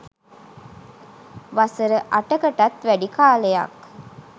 වසර අටකටත් වැඩි කාලයක්